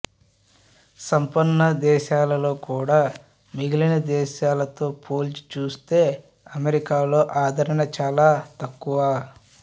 సంపన్న దేశాలలో కూడా మిగిలిన దేశాలతో పోల్చి చూస్తే అమెరికాలో ఆదరణ చాల తక్కువ